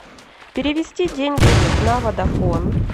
перевести деньги на водафон